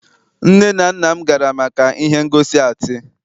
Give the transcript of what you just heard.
nne na nna m gara maka ihe ngosi atii